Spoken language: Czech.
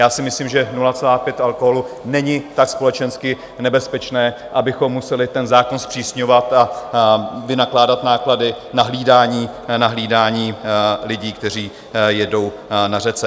Já si myslím, že 0,5 alkoholu není tak společensky nebezpečné, abychom museli zákon zpřísňovat a vynakládat náklady na hlídání lidí, kteří jedou na řece.